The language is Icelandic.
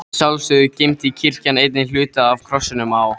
Að sjálfsögðu geymdi kirkjan einnig hluta af krossinum á